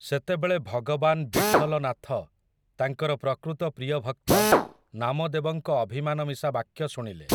ସେତେବେଳେ ଭଗବାନ୍ ବିଠଲନାଥ ତାଙ୍କର ପ୍ରକୃତ ପ୍ରିୟଭକ୍ତ ନାମଦେବଙ୍କ ଅଭିମାନମିଶା ବାକ୍ୟ ଶୁଣିଲେ ।